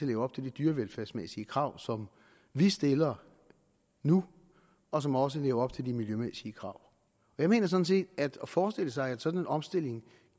leve op til de dyrevelfærdsmæssige krav som vi stiller nu og som også lever op til de miljømæssige krav jeg mener sådan set at det er at forestille sig at en sådan omstilling